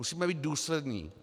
Musíme být důslední.